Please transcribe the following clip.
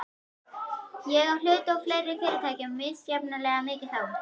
Ég á hluti í fleiri fyrirtækjum, misjafnlega mikið þó.